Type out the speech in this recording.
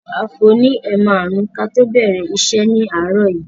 A fò ní ẹ̀ márùn-ún kí a tó bẹ̀rẹ̀ iṣẹ́ ni àárọ̀ yìí.